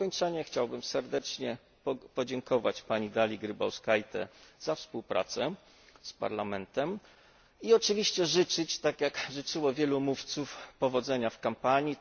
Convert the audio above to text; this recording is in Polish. Na zakończenie chciałbym serdecznie podziękować pani Dalii Grybautskaite za współpracę z Parlamentem i oczywiście życzyć, tak jak życzyło wielu mówców, powodzenia w kampanii.